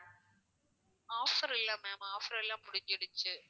offer இல்ல ma'am offer எல்லாம் முடிஞ்சிடுச்சு